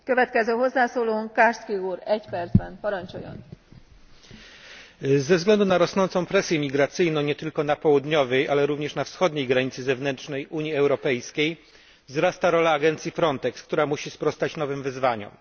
Pani Przewodnicząca! Ze względu na rosnącą presję migracyjną nie tylko na południowej, ale również na wschodniej granicy zewnętrznej Unii Europejskiej wzrasta rola agencji Frontex, która musi sprostać nowym wyzwaniom.